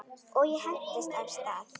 Og ég hentist af stað.